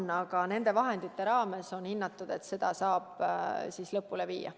On hinnatud, et nende vahendite raames saab selle lõpule viia.